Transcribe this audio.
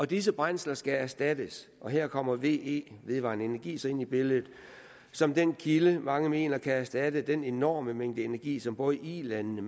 disse brændsler skal erstattes og her kommer ve vedvarende energi så ind i billedet som den kilde mange mener kan erstatte den enorme mængde energi som både ilandene